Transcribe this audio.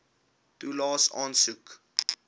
toelaes aansoek